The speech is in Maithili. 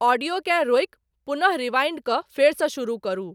ऑडियोकेँ रोकि पुनः रिवाइंड कऽ फेरसॅ शुरु करू